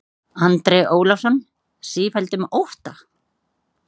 Andri Ólafsson: Sífelldum ótta?